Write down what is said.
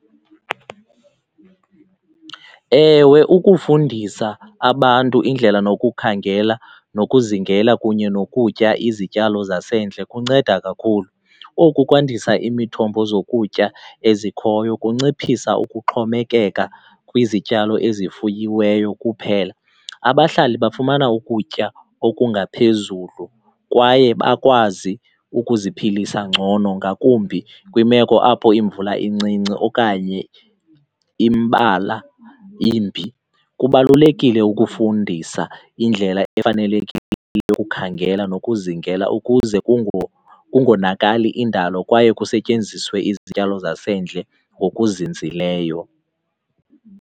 Ewe, ukufundisa abantu indlela nokukhangela nokuzingela kunye nokutya izityalo zasendle kunceda kakhulu. Oku kwandisa imithombo zokutya ezikhoyo, kunciphisa ukuxhomekeka kwizityalo ezifuyiweyo kuphela. Abahlali bafumana ukutya okungaphezulu kwaye bakwazi ukuziphilisa ngcono, ngakumbi kwimeko apho imvula incinci okanye imbalwa imbi. Kubalulekile ukufundisa indlela efanelekile yokukhangela nokuzingela ukuze kungonakali indalo kwaye kusetyenziswe izityalo zasendle ngokuzinzileyo.